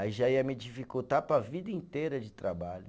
Aí já ia me dificultar para a vida inteira de trabalho.